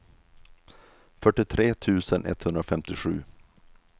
fyrtiotre tusen etthundrafemtiosju